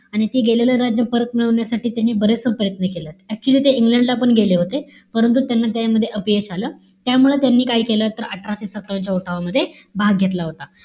आणि ते गेलेलं राज्य परत मिळवण्यासाठी त्यांनी बरेचसे प्रयत्न केले. Actually ते इंग्लंडला पण गेले होते. परंतु, त्यांना त्यामध्ये अपयश आलं. त्यामुळे त्यांनी काय केलं? तर अठराशे सत्तावन्न च्या उठावामध्ये भाग घेतला होता.